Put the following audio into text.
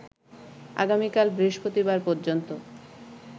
আগামীকাল বৃহস্পতিবার পর্যন্ত